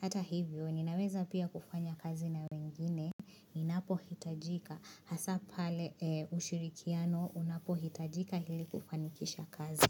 Hata hivyo, ninaweza pia kufanya kazi na wengine, inapohitajika, hasa pale ushirikiano, unapohitajika hili kufanikisha kazi.